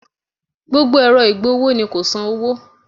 Gbogbo ẹ̀rọ ìgbọ̀wọ́ ni kò san owó